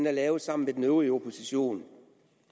er lavet sammen med den øvrige opposition